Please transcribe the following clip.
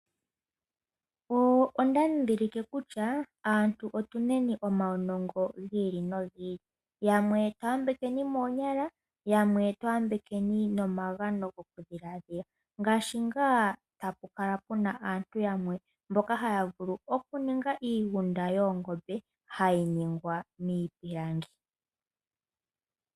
Onda dhidhilike kutya aantu otu neni omaunongo gi ili nogi ili, yamwe twa yambekweni moonyala yamwe twa yambekweni nomagano gokudhilaadhila, ngaashi ngaa hapu kala pu na aantu yamwe mboka haya vulu okuninga iigunda yoongombe hayi ningwa niipilangi.